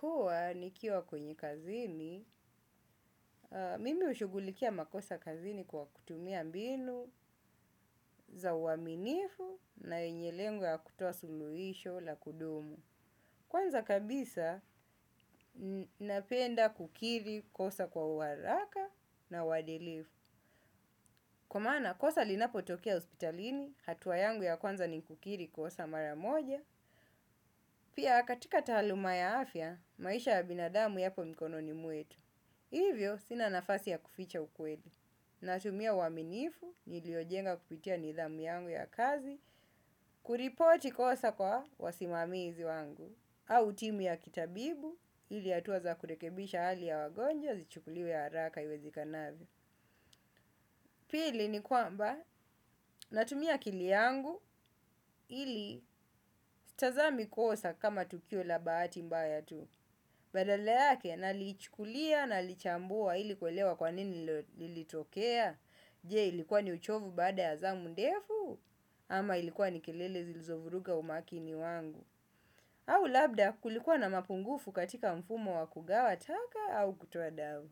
Huwa nikiwa kwenye kazini, mimi hushughulikia makosa kazini kwa kutumia mbinu za uaminifu na yenye lengo la kutoa suluhisho la kudumu. Kwanza kabisa, napenda kukiri kosa kwa uharaka na uadilifu. Kwa maana kosa linapotokea hospitalini, hatua yangu ya kwanza ni kukiri kosa mara moja, pia katika taaluma ya afya, maisha ya binadamu yapo mikononi mwetu. Hivyo, sina nafasi ya kuficha ukweli. Natumia uaminifu, niliojenga kupitia nidhamu yangu ya kazi, kuripoti kosa kwa wasimamizi wangu, au timu ya kitabibu, ili hatua kurekebisha hali ya wagonjwa, zichukuliwe za haraka iwezekanavyo pili ni kwamba natumia akili yangu, sitazami kosa kama tukio la bahati mbaya tu. Badala yake nalichukulia na nalichambua ili kuelewa kwa nini lilitokea. Je, ilikuwa ni uchovu baada ya zamu ndefu ama ilikuwa ni kelele zilizovuruga umakini wangu? Au labda kulikuwa na mapungufu katika mfumo wa kugawa taka au kutoa damu.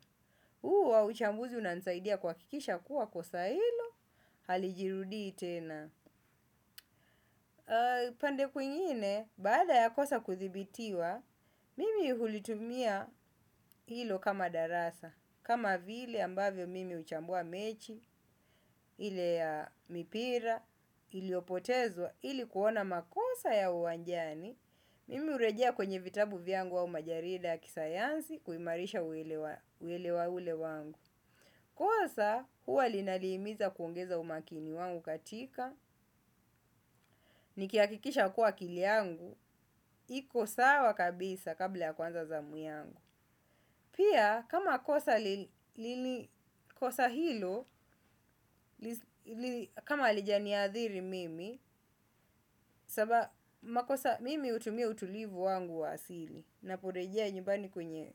Huo uchambuzi unanisaidia kuhakikisha kuwa kosa hilo halijirudii tena. Pande kwingine, baada ya kosa kudhibitiwa, mimi hulitumia hilo kama darasa, kama vile ambavyo mimi huchambua mechi, ile ya mipira, iliyopotezwa, ili kuona makosa ya uwanjani, mimi hurejea kwenye vitabu vyangu au majarida ya kisayansi kuimarisha uelewa wangu. Kosa huwa linanihimiza kuongeza umakini wangu katika, nikihakikisha kuwa kila kitu changu kipo sawa kabisa kabla ya kuanza zamu yangu. Pia, kama kosa hilo, kama halijaniathiri mimi, sababu mimi hutumia utulivu wangu wa asili. Naporejea nyumbani kwenye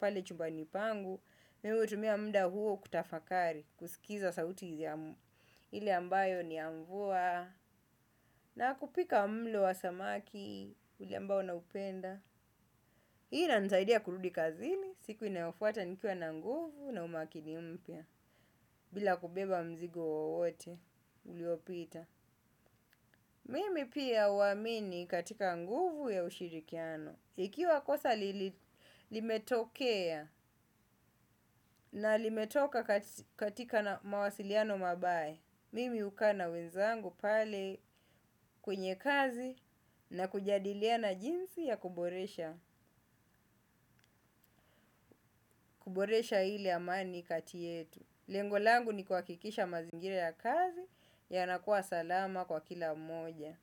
pale chumbani pangu. Mimu hutumia muda huo kutafakari, kusikiza sauti hili ambayo ni ya mvua. Na kupika mlo wa samaki, ule ambao naupenda, hiyo inanisaidia kurudi kazini siku inayofuata nikiwa na nguvu na umakini mpya bila kubeba mzigo wowote uliopita. Mimi pia huamini katika nguvu ya ushirikiano, ikiwa kosa limetokea na limetokana na mawasiliano mabaya. Mimi hukaa na wenzangu pale kwenye kazi na kujadiliana jinsi ya kuboresha, kuboresha ile amani kati yetu. Lengo langu ni kuhakikisha mazingira ya kazi yanakuwa salama kwa kila mmoja.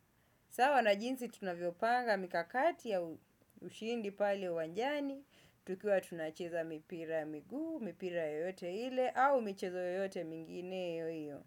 Sawa na jinsi tunavyopanga mikakati ya ushindi pale uwanjani, tukiwa tunacheza mipira ya miguu, mipira yote ile au michezo yote mingineyo.